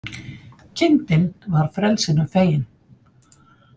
Kindin var frelsinu fegin